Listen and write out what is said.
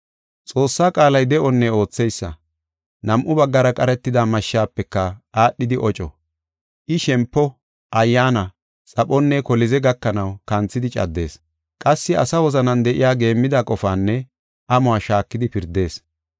Xoossaa qaalay de7onne ootheysa. Nam7u baggara qaratida mashshafeka aadhidi oco. I shempo, ayyaana, xaphonne kolize gakanaw kanthidi caddees. Qassi asa wozanan de7iya geemmida qofaanne amuwa shaakidi pirdees.